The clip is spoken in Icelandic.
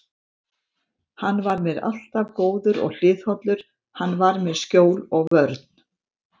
Hann var mér alltaf góður og hliðhollur, hann var mér skjól og vörn.